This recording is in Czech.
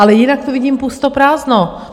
Ale jinak tu vidím pusto prázdno.